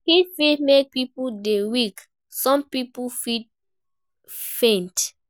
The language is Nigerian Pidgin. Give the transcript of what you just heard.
Heat fit make pipo dey weak, some pipo fit faint